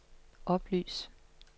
oplys